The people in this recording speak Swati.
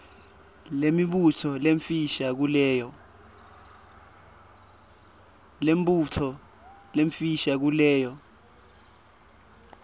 nemibuto lemifisha kuleyo